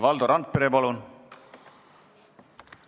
Valdo Randpere, palun!